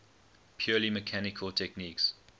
purely mechanical techniques